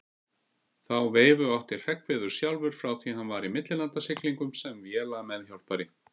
Þá veifu átti Hreggviður sjálfur frá því hann var í millilandasiglingum sem vélameðhjálpari.